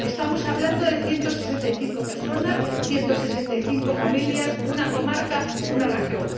Estamos hablando de 165 personas, 165 familias, una comarca, una región.